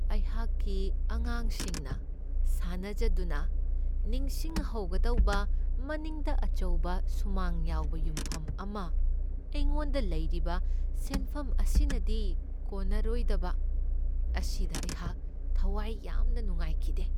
ꯑꯩꯍꯥꯛꯀꯤ ꯑꯉꯥꯡꯁꯤꯡꯅ ꯁꯥꯟꯅꯖꯗꯨꯅ ꯅꯤꯡꯁꯤꯡꯍꯧꯒꯗꯕ ꯃꯅꯤꯡꯗ ꯑꯆꯧꯕ ꯁꯨꯃꯥꯡ ꯌꯥꯎꯕ ꯌꯨꯝꯐꯝ ꯑꯃ ꯑꯩꯉꯣꯟꯗ ꯂꯩꯔꯤꯕ ꯁꯦꯟꯐꯝ ꯑꯁꯤꯅꯗꯤ ꯀꯣꯟꯅꯔꯣꯏꯗꯕ ꯑꯁꯤꯗ ꯑꯩꯍꯥꯛ ꯊꯋꯥꯏ ꯌꯥꯝꯅ ꯅꯨꯡꯉꯥꯏꯈꯤꯗꯦ ꯫